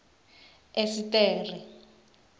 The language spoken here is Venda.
esiṱere